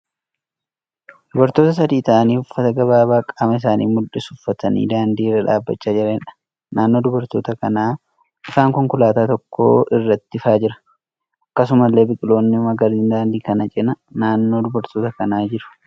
Dubartoota sadii ta'aanii uffata gabaaabaa qaama isaanii mul'isu uffatanii daandii irra dhaabbachaa jiraniidha. Naannoo dubartoota kanaa ifaan konkolaataa tokko irratti ifaa jira. Akkasumallee biqiloonni magariisni daandii kana cina naannoo dubartoota kanaa jiru.